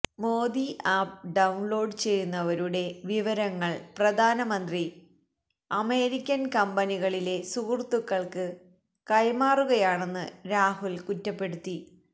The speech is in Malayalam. മോദി ആപ്പ് ഡൌണ്ലോഡ് ചെയ്യുന്നവരുടെ വിവരങ്ങള് പ്രധാനമന്ത്രി അമേരിക്കന് കമ്പനികളിലെ സുഹൃത്തുക്കള്ക്ക് കൈമാറുകയാണെന്ന് രാഹുല് കുറ്റപ്പെടുത്തി